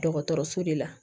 Dɔgɔtɔrɔso de la